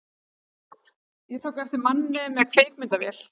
Ég tók eftir manni með kvikmyndavél.